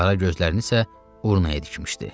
Qara gözlərini isə Urnaya dikmişdi.